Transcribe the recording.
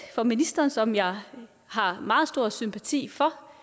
for ministeren som jeg har meget stor sympati for